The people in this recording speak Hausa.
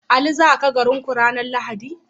Ali zaka garin ku ranar lahadi?